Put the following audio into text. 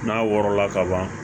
N'a wɔrɔla kaban